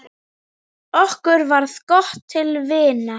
Okkur varð gott til vina.